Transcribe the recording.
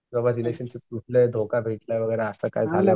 बाबा रिलेशनशिप तुटलं धोका भेटला वगैरा असं काय काय